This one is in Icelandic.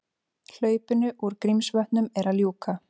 Hlaupinu úr Grímsvötnum er að ljúka